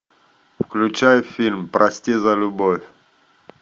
включай фильм прости за любовь